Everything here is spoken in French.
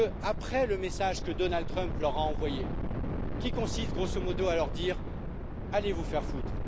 Après le message que Donald Trump leur a envoyé, qui a consisté grosso modo à leur dire Allez vous faire voir!,